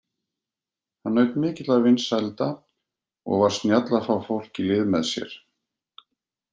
Hann naut mikilla vinsælda og var snjall að fá fólk í lið með sér.